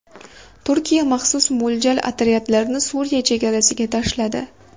Turkiya maxsus mo‘ljal otryadlarini Suriya chegarasiga tashladi.